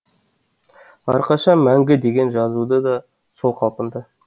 әрқашан мәңгі деген жазуы да сол қалпында